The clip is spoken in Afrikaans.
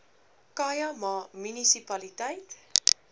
khai ma munisipaliteit